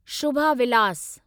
Shubha Vilas